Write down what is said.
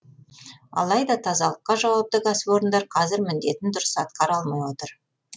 алайда тазалыққа жауапты кәсіпорындар қазір міндетін дұрыс атқара алмай отыр